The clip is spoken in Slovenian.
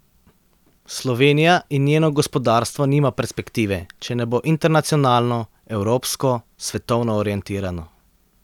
Slovenija in njeno gospodarstvo nima perspektive, če ne bo internacionalno, evropsko, svetovno orientirano.